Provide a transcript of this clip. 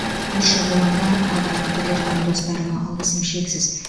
көрші қолаңға аға әпкелерім мен достарыма алғысым шексіз